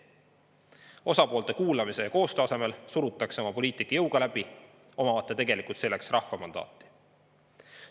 Osapoolte kuulamise ja koostöö asemel surutakse oma poliitika jõuga läbi, omamata tegelikult selleks rahva mandaati.